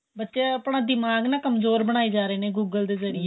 ਬੱਚੇ ਆਪਣਾ ਦਿਮਾਗ਼ ਕਮਜੋਰ ਬਣਾਈ ਜਾ ਰਹੇ ਨੇ google ਦੇ ਜਰੀਏ